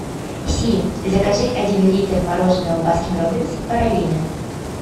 сири закажи один литр мороженого баскин роббинс пралине